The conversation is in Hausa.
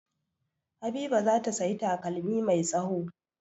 Habiba za ta sayi takalmi mai tsawo.